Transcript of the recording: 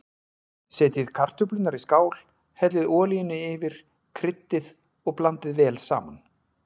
Setjið kartöflurnar í skál, hellið olíunni yfir, kryddið og blandið vel saman.